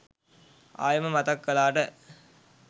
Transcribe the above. ආයෙම මතක් කලාට.